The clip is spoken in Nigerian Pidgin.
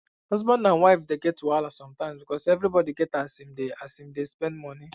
husband and wife dey get wahala sometimes because everybody get as im dey as im dey spend money